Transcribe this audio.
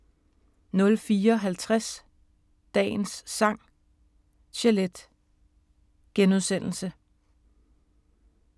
04:50: Dagens Sang: Chelete *